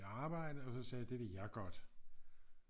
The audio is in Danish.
Arbejde og så sagde jeg det vil jeg godt